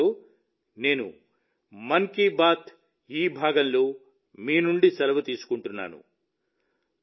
ఈ మాటలతో నేను మన్ కీ బాత్ ఈ భాగంలో మీ నుండి సెలవు తీసుకుంటున్నాను